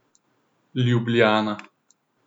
Ljubljana.